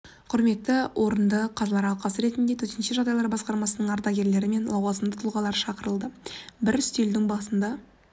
құрметті орында қазылар алқасы ретінде төтенше жағдайлар басқармасының ардагерлері мен лауазымды тұлғалары шақырылды бір үстелдің басында